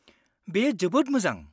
-बेयो जोबोद मोजां।